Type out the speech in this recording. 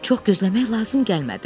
Çox gözləmək lazım gəlmədi.